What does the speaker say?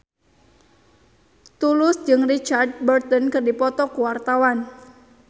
Tulus jeung Richard Burton keur dipoto ku wartawan